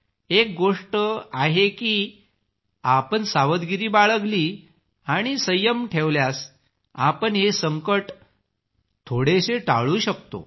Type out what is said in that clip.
एक गोष्ट आहे की आपण सावधगिरी बाळगली आणि संयम ठेवल्यास आपण हे संकट थोडेसे टाळू शकता